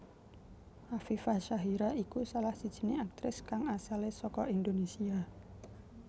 Afifa Syahira iku salah sijiné aktris kang asalé saka Indonesia